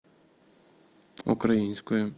украинскою